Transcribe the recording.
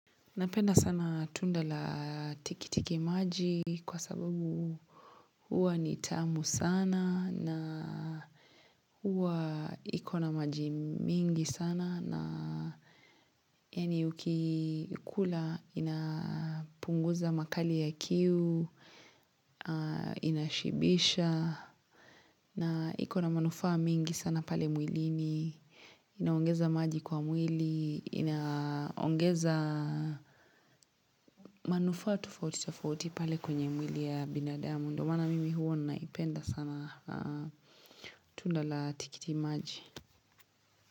Napenda sana tunda la tikiti maji kwa sababu huwa nitamu sana na huwa ikona maji mingi sana na Yani uki kula inapunguza makali ya kiu, inashibisha na iko na manufaa mingi sana pale mwilini Inaongeza maji kwa mwili, inaongeza manufaa tofauti tofauti, pale kwenye mwili ya binadamu ndio maana mimi huwa naipenda sana tunda la tikiti maji.